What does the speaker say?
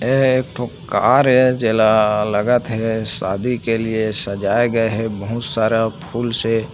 यह एक ठो कार हे जेला लगत हे शादी के लिए सजाये गए हे बहुत सारा फुल से--